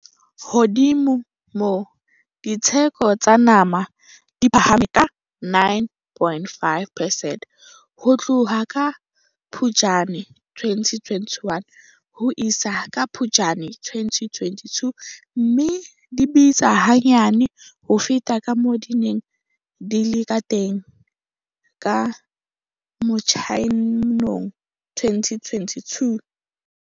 Hodima moo, ditheko tsa nama di phahame ka 9.5 percent ho tloha ka Phuptjane 2021 ho isa ka Phuptjane 2022, mme di bitsa hanyane ho feta kamoo di neng di le kateng ka Motsheanong 2022.